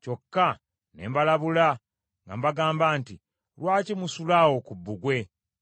Kyokka ne mbalabula nga mbagamba nti, “Lwaki musula awo ku bbugwe?